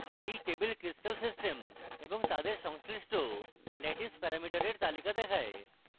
এই table crystal systems এবং তাদের সংশ্লিষ্ট ল্যাটিস প্যারামিটারের তালিকা দেখায়